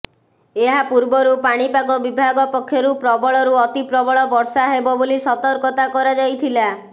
ଏହାପୂର୍ବରୁ ପାଣିପାଗ ବିଭାଗ ପକ୍ଷରୁ ପ୍ରବଳରୁ ଅତିପ୍ରବଳ ବର୍ଷା ହେବ ବୋଲି ସତର୍କତା କରାଯାଇଥିଲା